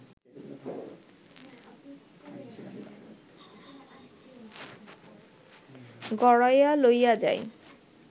গড়াইয়া লইয়া যায়